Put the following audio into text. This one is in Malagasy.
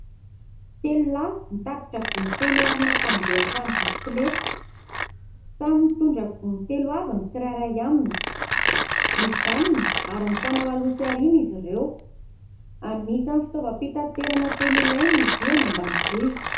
Telo lahy mitatitra gony feno arina fandrehatra amin'ny bisikileta. Samy mitondra gony telo avy ny tsirairay aminy. Mijanona ary mifanao aloha sy aoriana izy ireo. Anisan'ny fitaovam-pitaterana tena ilaina izy io any ambanivohitra.